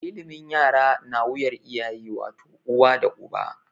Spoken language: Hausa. Ilimin yara na wuyar iyaye wato, uwa da uba.